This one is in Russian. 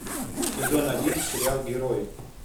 сезон один сериал герои